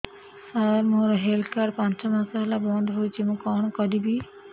ସାର ମୋର health card ପାଞ୍ଚ ମାସ ହେଲା ବଂଦ ହୋଇଛି ମୁଁ କଣ କରିବି